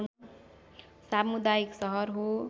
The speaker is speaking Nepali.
समुदायिक सहर हो